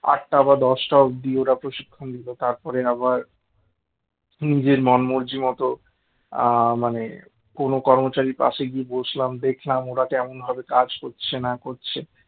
আটটা বা দশটা অব্দি ওরা প্রশিক্ষণ দিত তারপরে আবার নিজের মন মর্জি মতো আ মানে কোন কর্মচারীর পাশে গিয়ে বসলাম দেখলাম ওরা কেমন ভাবে কাজ করছে না করছে